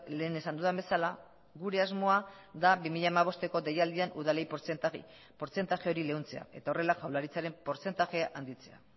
lehen esan dudan bezala gure asmoa da bi mila hamabosteko deialdian udalei portzentaia hori leuntzea eta horrela jaurlaritzaren portzentaia handitzea